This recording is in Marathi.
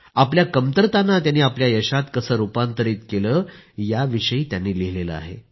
आपल्या कमतरतांना त्यांनी आपल्या यशात कसे रूपांतरित केले याविषयी त्यांनी लिहिलं आहे